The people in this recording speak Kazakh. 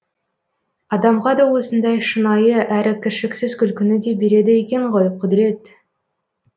адамға да осындай шынайы әрі кіршіксіз күлкіні де береді екен ғой құдірет